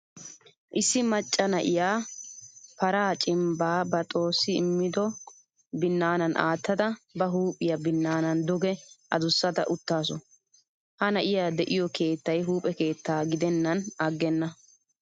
Issi maca na'iyyaa paraa cimbba ba xoossi medhdhido binaanan aattada ba huuphphiyaa binaana duge aduusada uttasu. Ha na'iyaa de'iyo keettay huuphphe keetta gidenan aggena.